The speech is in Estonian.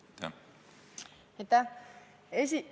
Aitäh!